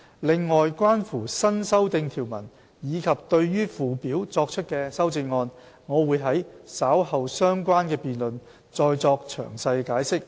另外，關乎新訂條文及對附表作出的修正案，我會在稍後相關的辯論再作詳細解釋。